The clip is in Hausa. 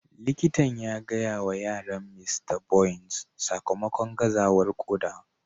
Likitan ya gaya wa yaran Mista Bonys sakamakon gazawar koda.